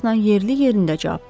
yerli yerində cavab verdi.